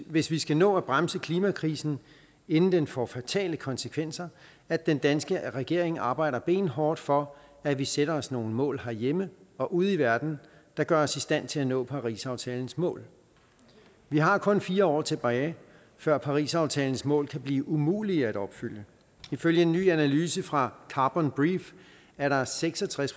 hvis vi skal nå at bremse klimakrisen inden den får fatale konsekvenser at den danske regering arbejder benhårdt for at vi sætter os nogle mål herhjemme og ude i verden der gør os i stand til at nå parisaftalens mål vi har kun fire år tilbage før parisaftalens mål kan blive umulige at opfylde ifølge en ny analyse fra carbon brief er der seks og tres